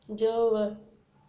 делала